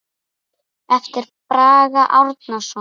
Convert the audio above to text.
eftir Braga Árnason